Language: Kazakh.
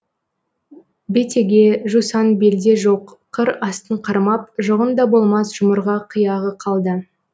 бетеге жусан белде жоқ қыр астын қармап жұғын да болмас жұмырға қияғы қалды